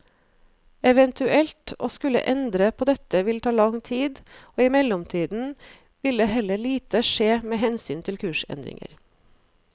Eventuelt å skulle endre på dette ville ta lang tid, og i mellomtiden ville heller lite skje med hensyn til kursendringer.